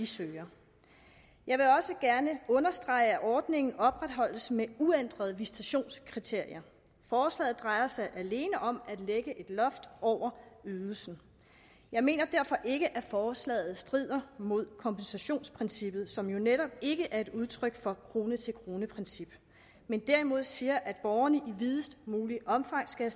søger jeg vil også gerne understrege at ordningen oprettesholdes med uændrede visitationskriterier forslaget drejer sig alene om at lægge et loft over ydelsen jeg mener derfor ikke at forslaget strider mod kompensationsprincippet som jo netop ikke er et udtryk for et krone til krone princip men derimod siger at borgerne i videst muligt omfang skal